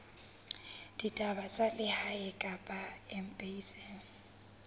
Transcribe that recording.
ditaba tsa lehae kapa embasing